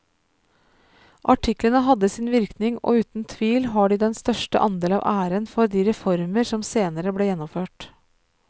Artiklene hadde sin virkning og uten tvil har de den største andel av æren for de reformer som senere ble gjennomført.